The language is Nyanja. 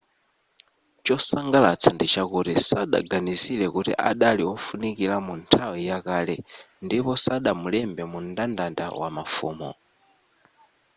chosangalatsa ndichakuti sadaganizire kuti adali wofunikira mu nthawi ya kale ndipo sadamulembe mu mndandanda wamafumu